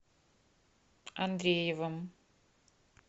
андреевым